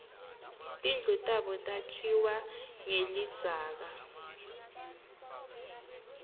tindlu tabo takhiwe nqelidzaka